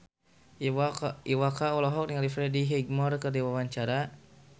Iwa K olohok ningali Freddie Highmore keur diwawancara